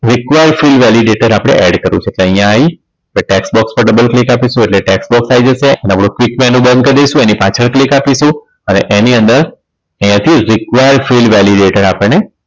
Require fild validater આપણે add કરવું છે એટલે અહીંયા આવી tax box પર double click આપીશું એટલે tax box આઈ જશે અને click menu બંધ કર દઈશું એની પાછળ click આપીશું અને એની અંદર અહીંયા થી require fild validater આપણને